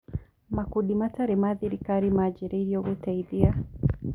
Makundi matarĩ ma gĩthirikari manjĩrĩirio gũteithia